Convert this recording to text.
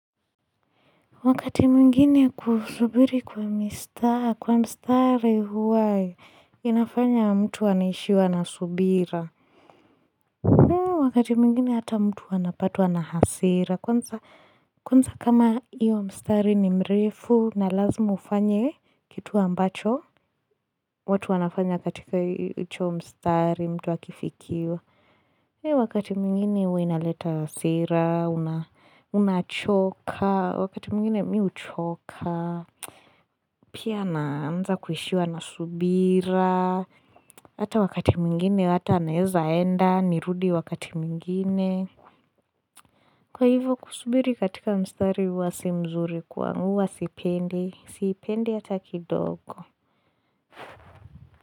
Wakati mwingine kusubiri kwa mistari, kwa mstari huwa, inafanya mtu anaishiwa na subira. Wakati mwingine ata mtu anapatwa na hasira. Kwanza kama hiyo mstari ni mrefu na lazima ufanye kitu ambacho. Watu wanafanya katika hicho mstari, mtu akifikiwa. Wakati mwingine huwa inaleta hasira, unachoka, wakati mwingine mii huchoka. Pia naanza kuishiwa na subira Hata wakati mwingine hata anaeza enda nirudi wakati mwingine Kwa hivyo kusubiri katika mstari huwa si mzuri Kwangu huwa sipendi Sipendi hata kidogo.